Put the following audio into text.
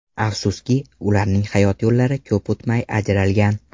Afsuski, ularning hayot yo‘llari ko‘p o‘tmay ajralgan.